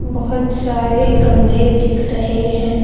बहोत सारे गमले दिख रहे हैं।